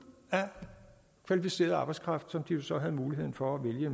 af kvalificeret arbejdskraft som de så havde muligheden for at vælge